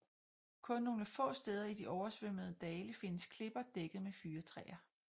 Kun nogle få steder i de oversvømmededale findes klipper dækket med fyrretræer